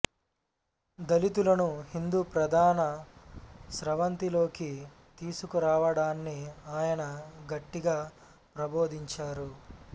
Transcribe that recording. దళితులను హిందూ ప్రధాన స్రవంతిలోకి తీసుకురావడాన్ని ఆయన గట్టిగా ప్రబోధించారు